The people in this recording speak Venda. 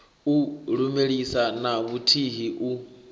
u lumelisa na vhuthihi u